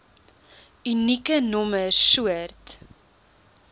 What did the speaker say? unieke nommer soort